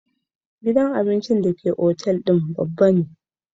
Gidan abincin hotel babba ne